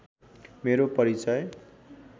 मेरो परिचय